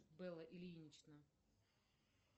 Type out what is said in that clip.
бэлла ильинична